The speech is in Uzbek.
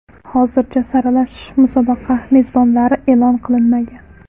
Hozircha saralash musobaqa mezbonlari e’lon qilinmagan.